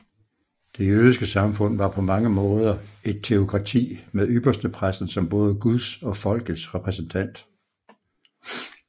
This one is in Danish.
Det jødiske samfund var på mange måder et teokrati med ypperstepræsten som både Guds og folkets repræsentant